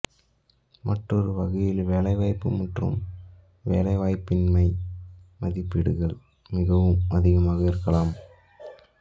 மற்றொரு வகையில் வேலைவாய்ப்பு மற்றும் வேலைவாய்ப்பின்மை மதிப்பீடுகள் மிகவும் அதிகமாக இருக்கலாம்